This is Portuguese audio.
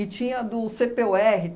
tinha do cê pê u erre